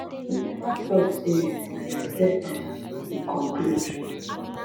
we neva tok say um we accept am im conclude